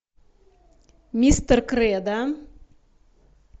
мистер кредо